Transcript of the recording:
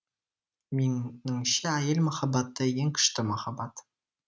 меніңше әйел махаббаты ең күшті махаббат